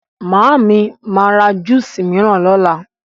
Màámi ma ra júsà míràn lọ́la.